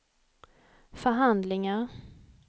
förhandlingar